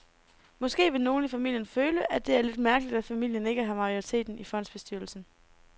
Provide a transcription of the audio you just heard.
Måske vil nogle i familien føle, at det er lidt mærkeligt, at familien ikke har majoriteten i fondsbestyrelsen.